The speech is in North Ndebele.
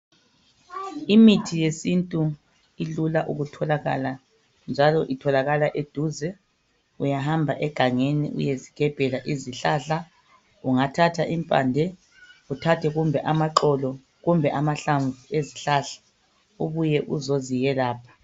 Imithi yesintu ilula ukutholakala njalo itholakala eduze uyahamba egangeni uyezigebhela izihlahla ungathatha impande uthathe kumbe amaxolo kumbe amahlamvu ezihlahla ubuye uzoziyelapha.